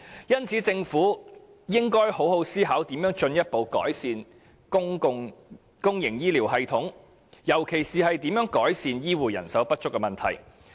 因此，政府應好好思考如何進一步改善公營醫療系統，尤其是如何改善醫護人手不足的問題。